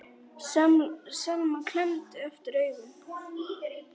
Selma klemmdi aftur augun.